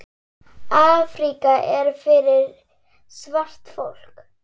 Afríka er fyrir svart fólk.